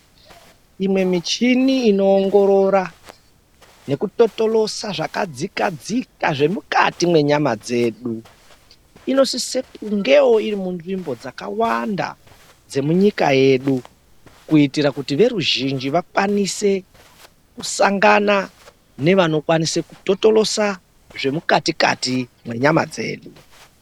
Imwe michini inoongorora nekutotorosa zvakadzika dzika zvemukati menyama dzedu inosisa kungewo iri munzvimbo dzakawanda dzemunyika yedu kuitira kuti veruzhinji vakwanise kusangana nevanikwanisa kutotorosa zvemukati dzedu.